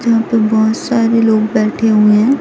यहां पे बहुत सारे लोग बैठे हुए हैं।